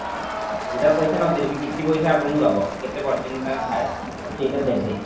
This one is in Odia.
ପୁରା ପଇସା ନ ଦେଲେ ବି କିଛି ପଇସା ବି ଆପଣଙ୍କୁ ଦବ କେତେ percent ତାଙ୍କର ଥାଏ ସେ ସେଇଟା ଦେବେ